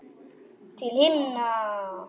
Til himna!